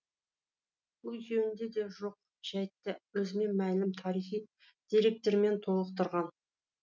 бұл екеуінде жоқ жәйтті өзіне мәлім тарихи деректермен толықтырған